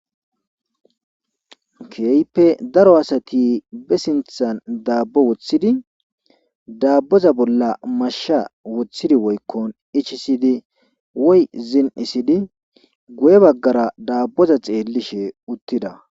Keehipe daro asati be sinthan daabbo woththidi daabboza bolla mashsha woththidi woykkon ichisidi woy zinisidi guye baggara daabboza xeellishe uttida.